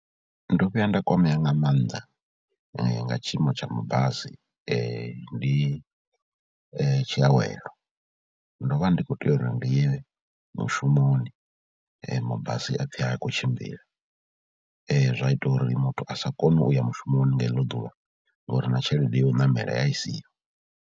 Ndo vhuya nda kwamea nga maanḓa nga tshiimo tsha mabasi, ndi tshiawelo. Ndo vha ndi khou tea uri ndi ye mushumoni mabasi ha pfhi ha khou tshimbila zwa ita uri muthu a sa koni u ya mushumoni nga iḽo ḓuvha ngori na tshelede ya u ṋamela ya i siho.